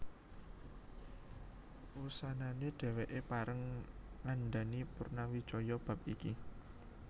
Wusanané dhèwèké pareng ngandhani Purnawijaya bab iki